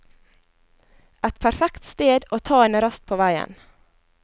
Et perfekt sted å ta en rast på veien.